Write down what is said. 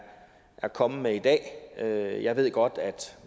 kommet med i dag jeg ved godt at